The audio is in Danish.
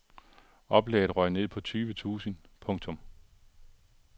Oplaget røg ned på tyve tusind. punktum